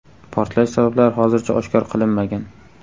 Portlash sabablari hozircha oshkor qilinmagan.